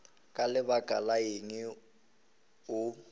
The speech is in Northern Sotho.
ka lebaka la eng o